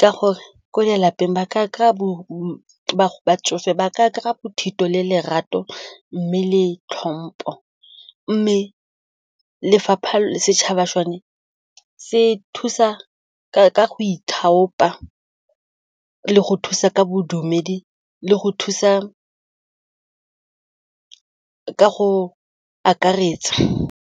ka gore ko lelapeng batsofe ba ka gore bothito le lerato mme le tlhompo mme setšhaba sone se thusa ka go ithaopa le go thusa ka bodumedi le go thusa ka go akaretsa.